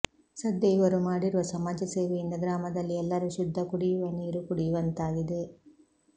ಸದ್ಯ ಇವರು ಮಾಡಿರುವ ಸಮಾಜ ಸೇವೆಯಿಂದ ಗ್ರಾಮದಲ್ಲಿ ಎಲ್ಲರೂ ಶುದ್ಧ ಕುಡಿಯುವ ನೀರು ಕುಡಿಯುವಂತಾಗಿದೆ